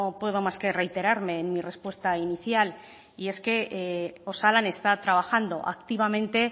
puedo más que reiterarme en mi respuesta inicial y es que osalan está trabajando activamente